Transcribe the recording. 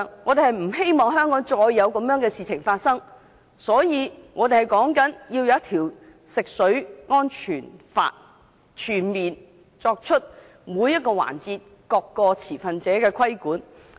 為免香港再有同類事件發生，我們要求訂立一套食水安全法，全面對每個環節、各個持份者進行規管。